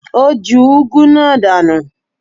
Ó ju úgú náà dànù.